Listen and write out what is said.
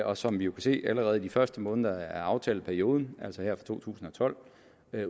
og som vi jo kan se allerede i de første måneder af aftaleperioden altså her fra to tusind og tolv